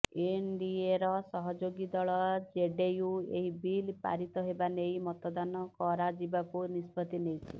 ଏନଡିଏର ସହଯୋଗୀ ଦଳ ଜେଡିୟୁ ଏହି ବିଲ୍ ପାରିତ ହେବା ନେଇ ମତଦାନ କରାଯିବାକୁ ନିଷ୍ପତ୍ତି ନେଇଛି